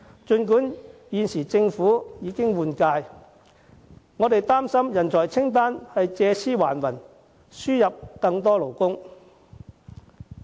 儘管政府現時已經換屆，我們擔心上述人才清單會借屍還魂，藉以輸入更多勞工。